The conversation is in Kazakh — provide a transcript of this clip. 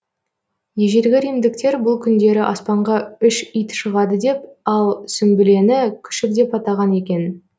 ежелгі римдіктер бұл күндері аспанға үш ит шығады деп ал сүмбілені күшік деп атаған екен